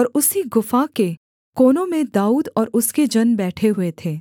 और उसी गुफा के कोनों में दाऊद और उसके जन बैठे हुए थे